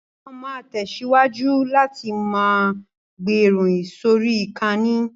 Wọn ma tẹ̀síwájú láti ma gbé ìròyìn sórí ìkànnì